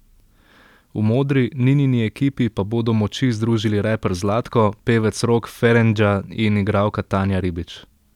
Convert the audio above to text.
V modri, Ninini ekipi pa bodo moči združili reper Zlatko, pevec Rok Ferengja in igralka Tanja Ribič.